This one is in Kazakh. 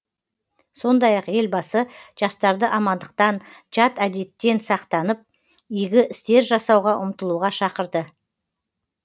сондай ақ елбасы жастарды амандықтан жат әдеттен сақтанып игі істер жасауға ұмтылуға шақырды